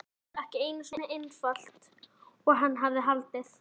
Málið ekki eins einfalt og hann hafði haldið.